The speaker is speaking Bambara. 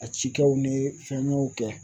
a cikɛw ni fɛngɛw kɛ.